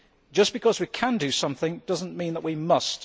Just because we can do something does not mean that we must.